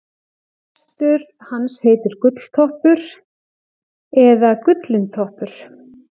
hestur hans heitir gulltoppur eða gullintoppur